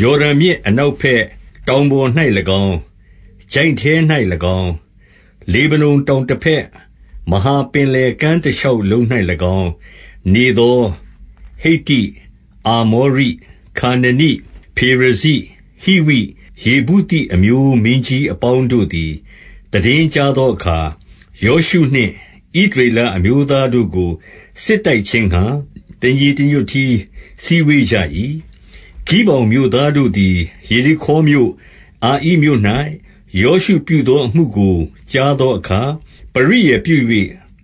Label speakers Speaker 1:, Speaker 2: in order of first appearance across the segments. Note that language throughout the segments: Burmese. Speaker 1: ယော်ဒန်မြစ် အနောက်ဘက်၊ တောင်ပေါ်၌ ၎င်း၊ ချိုင့်ထဲ၌၎င်း၊ လေဗနုန်တောင်တဘက်၊ မဟာပင် လယ်ကမ်းတရှောက်လုံး၌၎င်း နေသော ဟိတ္တိ၊ အာမော ရိ၊ ခါနနိ၊ ဖေရဇိ၊ ဟိဝိ၊ ယေဗုသိအမျိုးမင်းကြီး အပေါင်း တို့သည် သိတင်းကြားသောအခါ၊ 2 ယောရှုနှင့် ဣသရေလအမျိုးသားတို့ကို စစ် တိုက်ခြင်းငှါ တညီတညွတ်တည်း စည်းဝေးကြ၏။ 3 ဂိဗောင်မြို့သားတို့သည် ယေရိခေါမြို့၊ အာဣမြို့ ၌ ယောရှုပြုသောအမှုကို ကြားသောအခါ၊ 4 ပရိယာယ်ပြု၍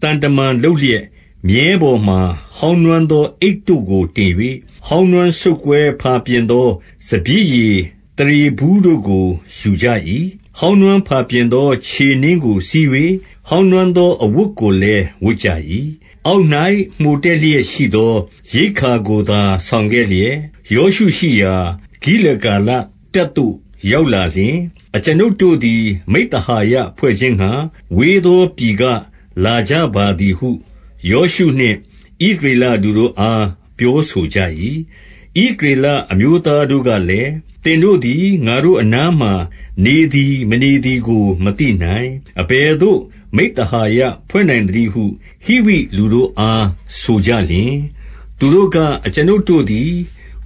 Speaker 1: သံတမန်လုပ်လျက်၊ မြည်းပေါ် မှာ ဟောင်းနွမ်းသောအိတ်တို့ကို တင်၍၊ ဟောင်းနွမ်း စုတ်ကွဲဖာပြင်သော စပျစ်ရည်သားရေဘူးတို့ကို ယူကြ၏။ 5 ဟောင်းနွမ်းဖာပြင်သော ခြေနင်းကို စီး၍၊ ဟောင်းနွမ်းသောအဝတ်ကိုလည်း ဝတ်ကြ၏။ အောက်၍ မှိုတက်လျက်ရှိသော ရိက္ခာကိုသာ ဆောင်ခဲ့လျက်၊ 6 ယောရှုရှိရာ ဂိလဂါလတပ်သို့ ရောက်လာလျှင်၊ အကျွန်ုပ်တို့သည် မိဿဟာယဖွဲ့ခြင်းငှါ၊ ဝေးသောပြည်က လာကြပါသည်ဟု ယောရှုနှင့် ဣသရေလလူတို့အား ပြော ဆိုကြ၏။ 7 ဣသရေလအမျိုးသားတို့ကလည်း၊ သင်တို့သည် ငါတို့အနားမှာနေသည် မနေသည်ကို မသိနိုင်။ အဘယ် သို့ မိဿဟာယဖွဲ့နိုင်သနည်းဟု ဟိဝိလူတို့အား ဆိုကြ 8 သူတို့က အကျွန်ုပ်တို့သည်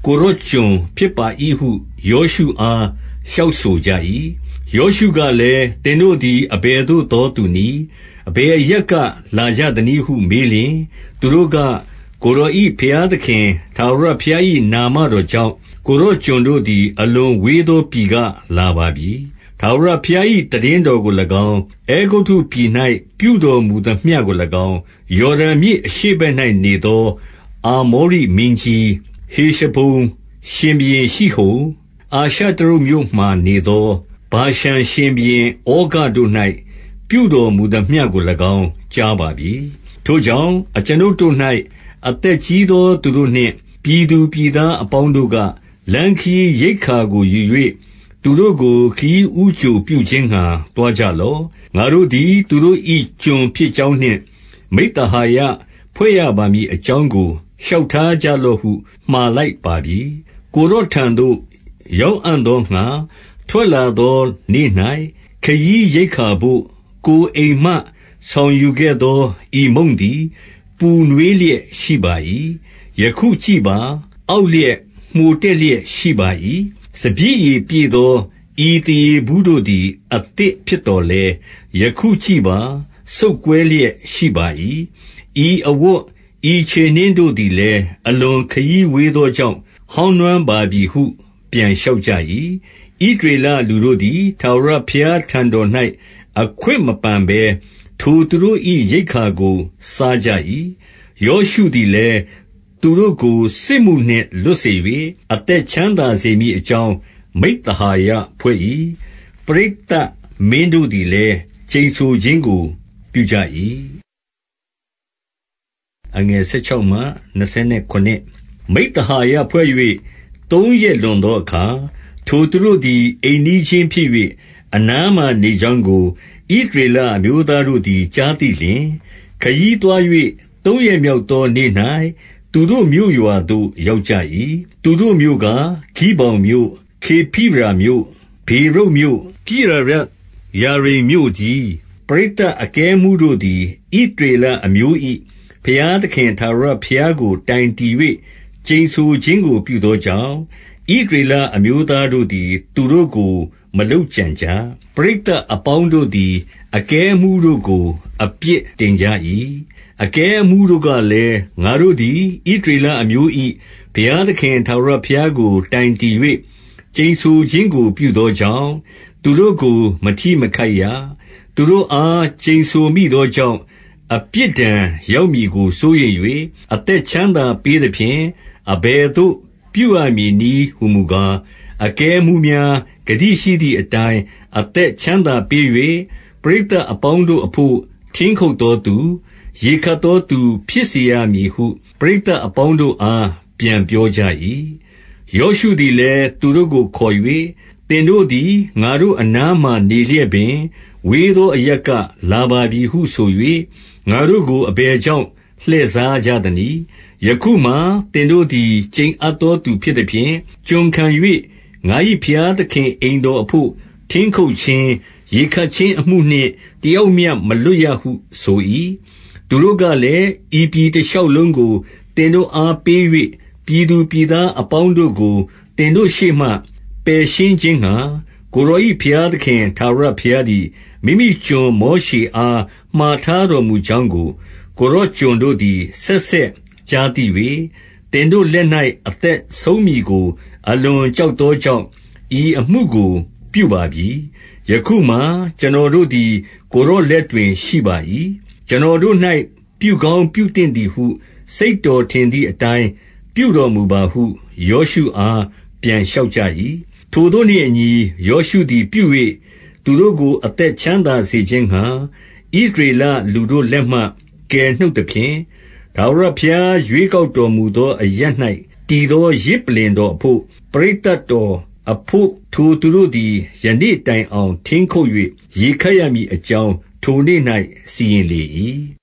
Speaker 1: ကိုယ်တော်ကျွန် ဖြစ် ပါ၏ဟု ယောရှုအား လျှောက်ဆိုကြ၏။ ယောရှုကလည်း၊ သင်တို့သည် အဘယ်သို့သောသူနည်း။ အဘယ်အရပ်က လာကြသနည်းဟု မေးလျှင်၊ 9 သူတို့က၊ ကိုယ်တော်၏ ဘုရားသခင် ထာဝရ ဘုရား၏ နာမတော်ကြောင့် ကိုယ်တော်ကျွန်တို့သည် အလွန်ဝေးသောပြည်က လာပါပြီ။ ထာဝရဘုရား၏ သိတင်းတော်ကို၎င်း၊ အဲဂုတ္တုပြည်၌ ပြုတော်မူသမျှကို၎င်း၊ 10 ယော်ဒန်မြစ်အရှေ့ဘက်၌နေသော အာမောရိ မင်းကြီး၊ ဟေရှဘုန်ရှင်ဘုရင်ရှိဟုန်၊ အာရှတရုတ်မြို့မှာ နေသော ဗာရှန်ရှင်ဘုရင် ဩဃတို့၌ ပြုတော်မူသမျှကို ၎င်း ကြားပါပြီ။ 11 ထိုကြောင့် အကျွန်ုပ်တို့၌ အသက်ကြီးသောသူ တို့နှင့် ပြည်သူပြည်သားအပေါင်းတို့က၊ လမ်းခရီးရိက္ခာကို ယူ၍ သူတို့ကို ခရီးဦးကြိုပြုခြင်းငှါ သွားကြလော့။ ငါတို့ သည် သူတို့၏ကျွန်ဖြစ်ကြောင်းနှင့် မိဿဟာယဖွဲ့ရပါ မည်အကြောင်းကို လျှောက်ထားကြလော့ဟု မှာလိုက်ပါပြီ။ 12 ကိုယ်တော်ထံသို့ ရောက်အံ့သောငှါ ထွက်လာ သောနေ့၌ ခရီးရိက္ခာဘို့ ကိုယ်အိမ်မှ ဆောင်ယူခဲ့သော ဤမုန့်သည် ပူနွေးလျက်ရှိပါ၏။ ယခုကြည့်ပါ။ အောက် လျက် မှိုတက်လျက်ရှိပါ၏။ 13 စပျစ်ရည်ပြည့်သော ဤသားရေဘူးတို့သည် အသစ်ဖြစ်သော်လည်း၊ ယခုကြည့်ပါ စုတ်ကွဲလျက်ရှိပါ၏။ ဤအဝတ် ဤခြေနင်းတို့သည်လည်း အလွန်ခရီးဝေး သောကြောင့် ဟောင်းနွမ်းပါပြီဟု ပြန်လျှောက်ကြ၏။ 14 ဣသရေလလူတို့သည် ထာဝရဘုရားထံတော်၌ အခွင့်မပန်ဘဲ ထိုသူတို့၏ရိက္ခာကို စားကြ၏။ 15 ယောရှုသည်လည်း သူတို့ကို စစ်မှုနှင့်လွတ်စေ၍၊ အသက်ချမ်းသာစေမည်အကြောင်း မိဿဟာယဖွဲ့၏။ ပရိသတ်မင်းတို့သည်လည်း ကျိန်ဆိုခြင်းကို ပြုကြ၏။ 16 မိဿဟာယဖွဲ့၍ သုံးရက်လွန်သောအခါ၊ ထိုသူ တို့သည် အိမ်နီးချင်းဖြစ်၍၊ အနားမှာနေကြောင်းကို ဣသရေလအမျိုးသားတို့သည် ကြားသိလျှင်၊ 17 ခရီးသွား၍ သုံးရက်မြောက်သောနေ့၌ သူတို့မြို့ ရွာသို့ ရောက်ကြ၏။ သူတို့မြို့ကား ဂိဗောင်မြို့၊ ခေဖိရာ မြို့၊ ဗေရုတ်မြို့၊ ကိရယတ်ယာရိမ်မြို့တည်း။ 18 ပရိသတ်အကဲအမှူးတို့သည် ဣသရေလအမျိုး ၏ ဘုရားသခင် ထာဝရဘုရားကို တိုင်တည်၍ ကျိန်ဆို ခြင်းကို ပြုသောကြောင့်၊ ဣသရေလအမျိုးသားတို့သည် သူတို့ကို မလုပ်ကြံကြ။ ပရိသတ်အပေါင်းတို့သည် အကဲ အမှူးတို့ကို အပြစ်တင်ကြ၏။ 19 အကဲအမှူးတို့ကလည်း၊ ငါတို့သည် ဣသရေလ အမျိုး၏ ဘုရားသခင် ထာဝရဘုရားကို တိုင်တည်၍ ကျိန်ဆိုခြင်းကို ပြုသောကြောင့် သူတို့ကို မထိမခိုက်ရ။ 20 သူတို့အား ကျိန်ဆိုမိသောကြောင့် အပြစ်ဒဏ် ရောက်မည်ကို စိုးရိမ်၍၊ အသက်ချမ်းသာပေးသဖြင့် အဘယ်သို့ ပြုရမည်နည်းဟူမူကား၊ 21 အကဲအမှူးများ ဂတိရှိသည်အတိုင်း အသက် ချမ်းသာပေး၍၊ ပရိသတ်အပေါင်းတို့အဘို့ ထင်းခုတ်သော သူ၊ ရေခပ်သောသူ ဖြစ်စေရမည်ဟု ပရိသတ်အပေါင်းတို့ အား ပြန်ပြောကြ၏။ 22 ယောရှုသည်လည်း သူတို့ကိုခေါ်၍၊ သင်တို့ သည် ငါတို့အနားမှာနေလျက်ပင်၊ ဝေးသောအရပ်က လာပါပြီဟုဆို၍ ငါတို့ကို အဘယ်ကြောင့် လှည့်စားကြသ နည်း။ 23 ယခုမှာ သင်တို့သည် ကျိန်အပ်သောသူ ဖြစ်သ ဖြင့်၊ ကျွန်ခံ၍ ငါ၏ဘုရားသခင် အိမ်တော်အဘို့ ထင်း ခုတ်ခြင်း၊ ရေခပ်ခြင်းအမှုနှင့် တယောက်မျှမလွတ်ရဟု ဆို၏။ 24 သူတို့ကလည်း၊ ဤပြည်တရှောက်လုံးကို သင်တို့ အားပေး၍၊ ပြည်သူပြည်သားအပေါင်းတို့ကို သင်တို့ရှေ့ မှ ပယ်ရှင်းခြင်းငှါ၊ ကိုယ်တော်၏ ဘုရားသခင် ထာဝရ ဘုရားသည် မိမိကျွန်မောရှေအား မှာထားတော်မူ ကြောင်းကို ကိုယ်တော်ကျွန်တို့သည် ဆက်ဆက်ကြားသိ ၍၊ သင်တို့လက်၌ အသက်ဆုံးမည်ကို အလွန်ကြောက် သောကြောင့်၊ ဤအမှုကို ပြုပါပြီ။ 25 ယခုမှာ ကျွန်တော်တို့သည် ကိုယ်တော်လက်တွင် ရှိပါ၏။ ကျွန်တော်တို့၌ ပြုကောင်းပြုသင့်သည်ဟု စိတ် တော်ထင်သည်အတိုင်း ပြုတော်မူပါဟု ယောရှုအား ပြန် လျှောက်ကြ၏။ 26 ထိုသို့နှင့်အညီ ယောရှုသည် ပြု၍၊ သူတို့ကို အသက်ချမ်းသာစေခြင်းငှါ ဣသရေလလူတို့လက်မှ ကယ်နှုတ်သဖြင့်၊ 27 ထာဝရဘုရား ရွေးကောက်တော်မူသောအရပ်၌ တည်သော ယဇ်ပုလ္လင်တော်အဘို့နှင့် ပရိသတ်တော်တို့ အဘို့ ထိုသူတို့သည် ယနေ့တိုင်အောင် ထင်းခုတ်၍ ရေ ခပ်ရမည်အကြောင်း၊ ထိုနေ့၌ စီရင်လေ၏